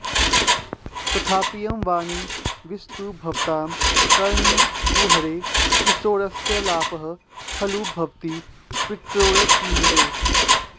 तथापीयं वाणी विशतु भवतां कर्णकुहरे किशोरस्यालापः खलु भवति पित्रोरतिमुदे